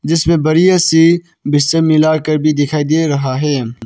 जिसमें बढ़िया सी मिलाकर भी दिखाई दे रहा है।